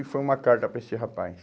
E foi uma carta para esse rapaz.